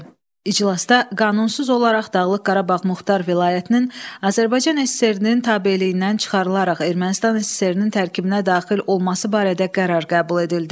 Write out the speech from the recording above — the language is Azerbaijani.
İclasda qanunsuz olaraq Dağlıq Qarabağ Muxtar Vilayətinin Azərbaycan SSR-nin tabeliyindən çıxarılaraq Ermənistan SSR-nin tərkibinə daxil olması barədə qərar qəbul edildi.